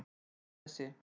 Kristnesi